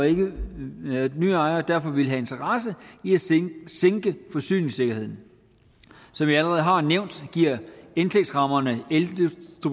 en ny ejer derfor ville have en interesse i at sænke sænke forsyningssikkerheden som jeg allerede har nævnt giver indtægtsrammerne eldistributionsvirksomhederne et